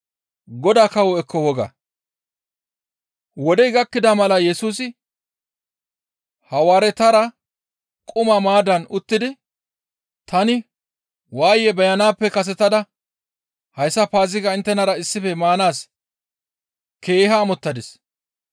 Wodey gakkida mala Yesusi Hawaaretara quma maaddan uttidi, «Tani waaye beyanaappe kasetada hayssa Paazigaa inttenara issife maanaas keeha amottadis.